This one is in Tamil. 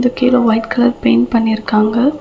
இது கீழ ஒயிட் கலர் பெயிண்ட் பண்ணிருக்காங்க.